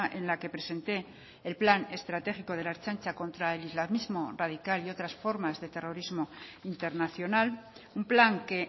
en la que presenté el plan estratégico de la ertzaintza contra el islamismo radical y otras formas de terrorismo internacional un plan que